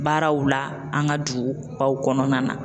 Baaraw la an ka dugubaw kɔnɔna na